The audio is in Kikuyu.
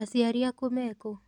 Aciari aku mekũ?